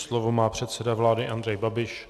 Slovo má předseda vlády Andrej Babiš.